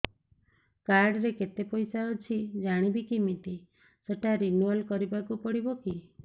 card ରେ କେତେ ପଇସା ଅଛି ଜାଣିବି କିମିତି ସେଟା ରିନୁଆଲ କରିବାକୁ ପଡ଼ିବ କି